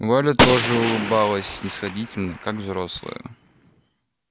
валя тоже улыбалась снисходительно как взрослая